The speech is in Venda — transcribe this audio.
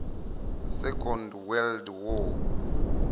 second world war